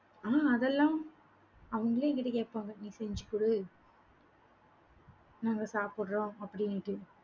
ஆஹ் அதெல்லாம், அவங்களே என்கிட்ட கேட்பாங்க, நீ செஞ்சு கொடு. நாங்க சாப்பிடுறோம் அப்படின்ட்டு